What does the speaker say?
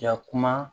Yakuma